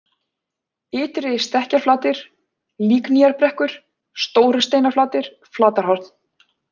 Ytri-Stekkjarflatir, Líknýjarbrekkur, Stórusteinaflatir, Flatarhorn